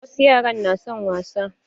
Wasu yaran na son wasa